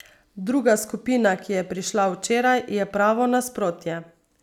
Druga skupina, ki je prišla včeraj, je pravo nasprotje.